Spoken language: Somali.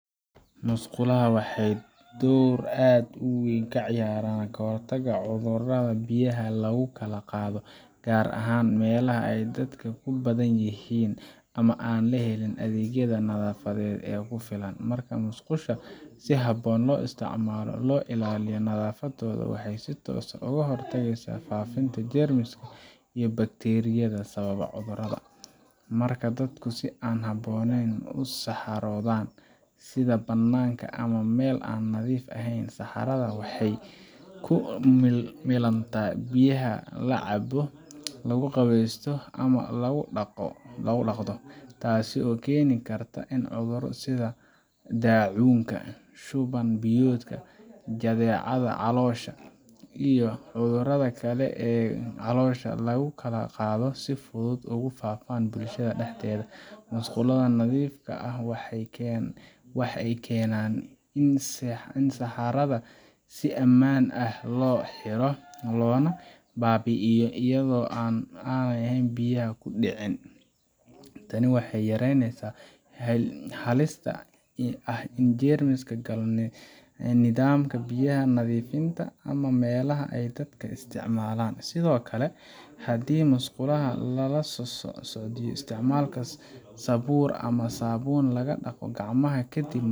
Musqulaha waxay door aad u weyn ka ciyaaraan ka hortagga cudurrada biyaha lagu kala qaado, gaar ahaan meelaha ay dadka ku badan yihiin ama aan helin adeegyada nadaafadeed ee ku filan. Marka musqulaha si habboon loo isticmaalo oo loo ilaaliyo nadaafaddooda, waxay si toos ah uga hortagaan faafidda jeermiska iyo bakteeriyada sababa cudurrada. Marka dadku si aan habboonayn u saxaroodaan, sida bannaanka ama meel aan nadiif ahayn, saxarada waxay ku milantaa biyaha la cabo, la qubeysto, ama lagu dhaqdo. Taas ayaa keeni karta in cudurro sida daacuunka , shuban biyoodka, jadeecada caloosha , iyo cudurrada kale ee caloosha lagu kala qaado si fudud ugu faafaan bulshada dhexdeeda. Musqulaha nadiifka ah waxay keenaan in saxarada si ammaan ah loo xiro, loona baabi’iyo iyada oo aanay biyaha ku dhicin. Tani waxay yaraynaysaa halista ah in jeermis galo nidaamka biyaha nadiifinta ah ama meelaha ay dadka isticmaalaan. Sidoo kale, haddii musqulaha lala socodsiiyo isticmaalka sabuur ama saabuun lagu dhaqo gacmaha kadib.